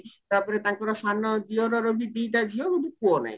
ତାପରେ ତାଙ୍କର ସାନ ଦିଅରର ବି ଦିଟା ଝିଅ କିନ୍ତୁ ପୁଅ ନାହିଁ